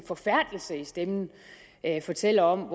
forfærdelse i stemmen fortæller om